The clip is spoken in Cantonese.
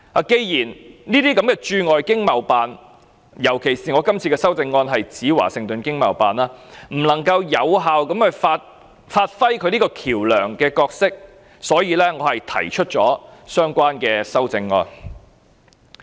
既然這些駐外經貿辦——尤其我這項修正案指明是華盛頓經貿辦——不能夠有效發揮橋樑角色，所以我提出相關的修正案。